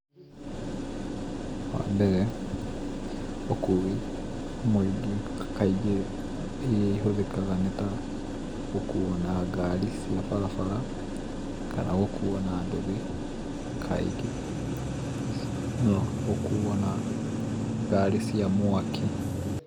Wambere, ũkui, mũingĩ kaingĩ iria ihũthĩkaga nĩta, gũkuo na ngari cia barabara, kana gũkuo na nduthi kaingĩ, no gũkuo na ngari cia mwaki.